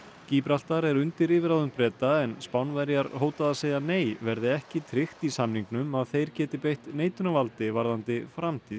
gíbraltar er undir yfirráðum Breta en Spánverjar hóta að segja nei verði ekki tryggt í samningnum að þeir geti beitt neitunarvaldi varðandi framtíð